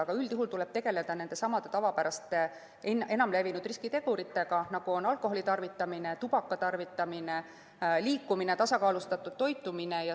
Aga üldjuhul tuleb tegeleda nendesamade tavapäraste enam levinud riskiteguritega, nagu alkoholitarvitamine, tubakatarvitamine, vähene liikumine, tasakaalustamata toitumine.